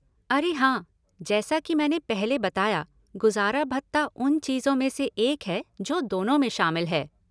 अरे हाँ, जैसा कि मैंने पहले बताया, गुजारा भत्ता उन चीजों में से एक है जो दोनों में शामिल है।